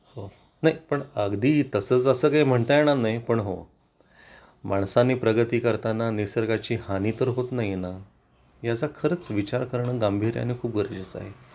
हो नाही पण अगदी तसंच असं काही म्हणता येणार नाही पण हो माणसाने प्रगती करताना निसर्गाची हानी तर होत नाही ना याचा खरंच विचार करून गांभीर्यानं खूप गरजेचं आहे